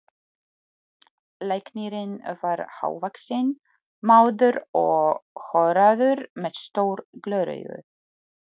Læknirinn var hávaxinn maður og horaður með stór gleraugu.